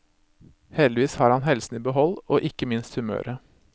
Heldigvis har han helsen i behold, og ikke minst humøret.